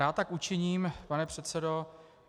Rád tak učiním, pane předsedo.